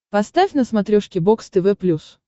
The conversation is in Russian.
поставь на смотрешке бокс тв плюс